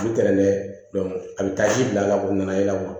U bi tɛntɛn a bɛ taa ji bila la o nana ye kuwa